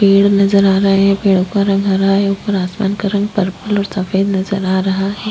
पेड़ नजर आ रहे है पेड़ का रंग हरा है उपर आसमान का रंग पर्पल और सफ़ेद नजर आ रहा है।